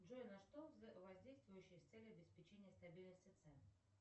джой на что воздействующей с целью обеспечения стабильности цен